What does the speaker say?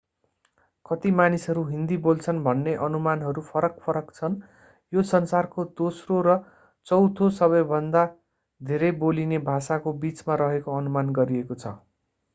कति मानिसहरू हिन्दी बोल्छन् भन्ने अनुमानहरू फरक-फरक छन् यो संसारको दोस्रो र चौथों सबैभन्दा धेरै बोलिने भाषाको बीचमा रहेको अनुमान गरिएको छ